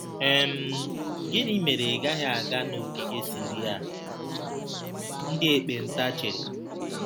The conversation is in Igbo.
um Gịnị mere ị gaghị aga n'ogige Siria?' ndị ekpenta chere.